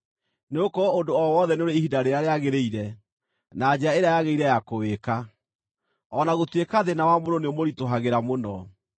Nĩgũkorwo ũndũ o wothe nĩ ũrĩ ihinda rĩrĩa rĩagĩrĩire, na njĩra ĩrĩa yagĩrĩire ya kũwĩka, o na gũtuĩka thĩĩna wa mũndũ nĩũmũritũhagĩra mũno.